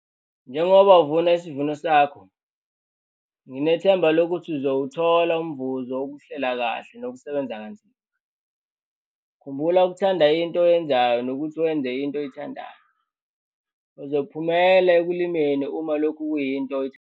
Ukuthengwa kwemishini kanye nempahla yezolimo kumele kwenziwe ngendlela ehlelekile. Uma uthenga umshini omusha ozowusebenzisela umsebenzi wokulima epulazini lakho usuke wenza isinqumo esihambisana nebhizinisi.